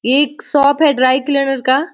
एक शॉप है dry clear का--